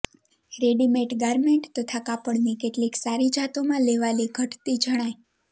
readymade garment તથા કાપડની કેટલીક સારી જાતોમાં લેવાલી ઘટતી જણાય